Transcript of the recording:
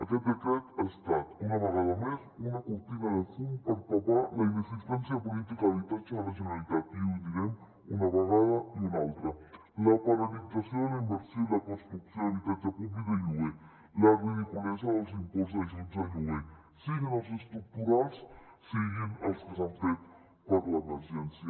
aquest decret ha estat una vegada més una cortina de fum per tapar la inexis tència política d’habitatge de la generalitat i ho direm una vegada i una altra la paralització de la inversió i la construcció d’habitatge públic de lloguer la ridiculesa dels imports d’ajuts al lloguer siguin els estructurals siguin els que s’han fet per l’emergència